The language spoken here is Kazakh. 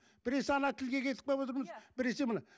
біресе ана тілге кетіп қалып отырмыз біресе мына